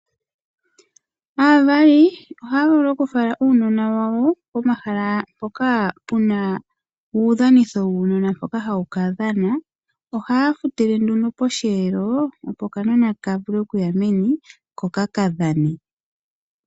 Aavali ohaya vulu okufala uunona wawo pomahala mpoka puna uudhanitho wuunona mpoka hawu ka dhana. Ohaya futile nduno posheelo opo okanona ka vule okuya meni ko ka kadhane.